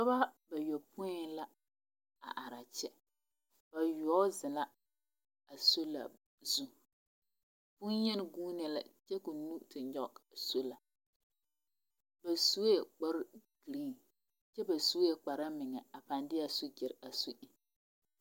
Dɔbɔ ba yopoi la are a kyɛ. Bayoɔbo zeŋ la a sola zu. Boŋyeni guunee la kyɛ ka o nu te nyɔge a sola. Ba sue kpare giriiŋ kyɛ ba sue kpare meŋa a pãã de a sojare a su eŋ.